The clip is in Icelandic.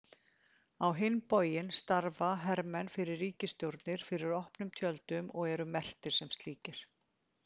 Á hinn bóginn starfa hermenn fyrir ríkisstjórnir fyrir opnum tjöldum og eru merktir sem slíkir.